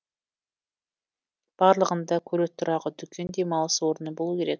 барлығында көлік тұрағы дүкен демалыс орны болуы керек